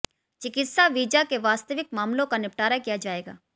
चिकित्सा वीजा के वास्तविक मामलों का निपटारा किया जाएगा